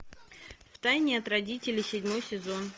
в тайне от родителей седьмой сезон